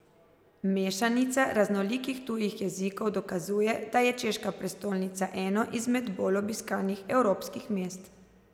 Mešanica raznolikih tujih jezikov dokazuje, da je češka prestolnica eno izmed bolj obiskanih evropskih mest.